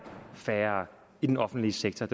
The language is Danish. færre i den offentlige sektor